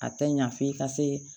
A tɛ ɲa f'i ka se